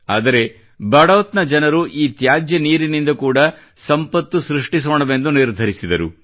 ಆದರೆ ಬಡೌತ್ ನ ಜನರು ಈ ತ್ಯಾಜ್ಯ ನೀರಿನಿಂದ ಕೂಡಾ ಸಂಪತ್ತು ಸೃಷ್ಟಿಸೋಣವೆಂದು ನಿರ್ಧರಿಸಿದರು